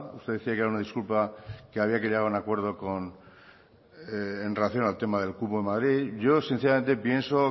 usted decía que era una disculpa que había que llegar a un acuerdo en relación del tema del cupo en madrid yo sinceramente pienso